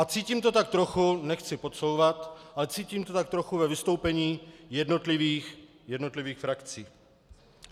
A cítím to tak trochu, nechci podsouvat, ale cítím to tak trochu ve vystoupení jednotlivých frakcí.